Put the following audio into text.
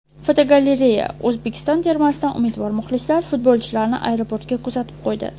Fotogalereya: O‘zbekiston termasidan umidvor muxlislar futbolchilarni aeroportga kuzatib qo‘ydi.